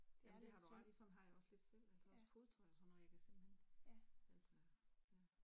Jamen det har du ret i sådan har jeg det også lidt selv altså også fodtøj og sådan noget, jeg kan simpelthen altså ja